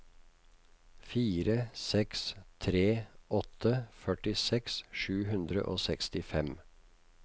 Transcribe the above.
fire seks tre åtte førtiseks sju hundre og sekstifem